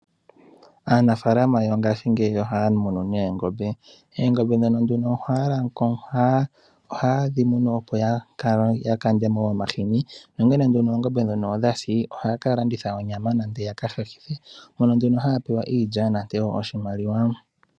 Aanafalama yongaashingeyi ohaya munu neengombe. Oongombo ndhono ohaye dhi munu, opo ya kande mo omahini, nongele nduno oongombe ndhono odha si ohaya ka landitha onyama nenge ya ka hahithe mono nduno haya mono iilya nenge oshimaliwa.